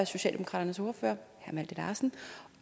socialdemokraternes ordfører herre malte larsen